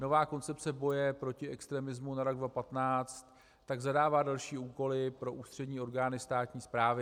Nová Koncepce boje proti extremismu na rok 2015 tak zadává další úkoly pro ústřední orgány státní správy.